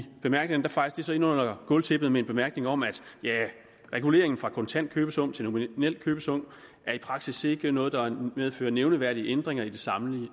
bemærkningerne fejes det så ind under gulvtæppet med en bemærkning om at reguleringen fra kontant købesum til nominel købesum i praksis ikke er noget der medfører nævneværdige ændringer i det samlede